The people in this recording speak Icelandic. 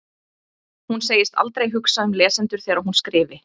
Hún segist aldrei hugsa um lesendur þegar hún skrifi.